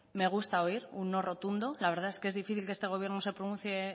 me gusta oír un no rotundo la verdad es que es difícil que este gobierno se pronuncie